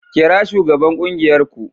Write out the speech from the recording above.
Kira shugaban kungiyar ku